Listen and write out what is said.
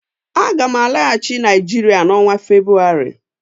Aga m alaghachi Naijiria n' onwa Febrụwarị